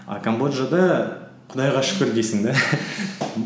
а камбоджада құдайға шүкір дейсің де